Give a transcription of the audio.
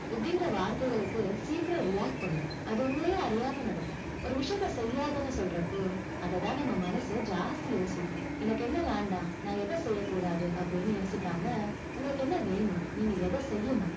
இப்படிங்கிற வார்த்தைகளுக்கு, சீக்கிரம் react பண்ணும். அது உங்களையும் அறியாமல் நடக்கும். ஒரு விஷயத்தை செய்யாதன்னு சொல்றப்போ, அதை தான் நம்ம மனசு ஜாஸ்தி யோசிக்கும். எனக்கு என்ன வேண்டாம், நான் எதை செய்யக்கூடாது, அப்படின்னு யோசிக்காம, உங்களுக்கு என்ன வேணும், நீங்க எதை செய்யணும்.